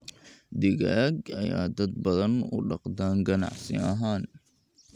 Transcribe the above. Digaag ayaa dad badan u dhaqdaan ganacsi ahaan.